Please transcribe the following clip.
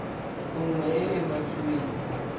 nngwe e e umakiwang mo